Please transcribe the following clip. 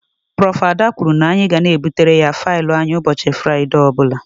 Prof.Ada kwụrụ na-anyi ga na ebutere ya faịlụ anyị ụbọchị Furaide ọbula.